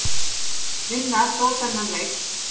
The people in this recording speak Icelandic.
Vinna þó þennan leik.